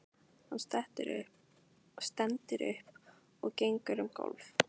Hann stendur upp og gengur um gólf.